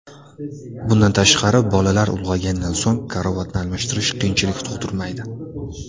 Bundan tashqari, bolalar ulg‘aygandan so‘ng karavotni almashtirish qiyinchilik tug‘dirmaydi.